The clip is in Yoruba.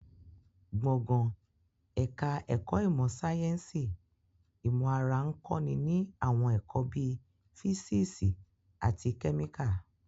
Gbọ̀ngàn ẹ̀ka ẹ̀kọ́ ìmọ̀ sáyẹ́nsì ìmọ̀ ara ń kọ́ ni ní àwọn ẹ̀kọ́ bíi físíìsì àti kẹ́míkà